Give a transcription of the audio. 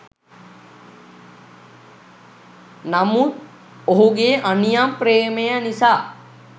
නමුත් ඔහුගේ අනියම් ප්‍රේමය නිසා